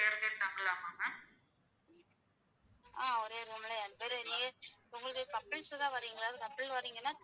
Couples தான் வரீங்களா? Couple வரீங்கன்னா.